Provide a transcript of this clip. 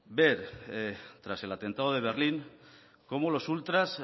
ver tras el atentado de berlín como los ultras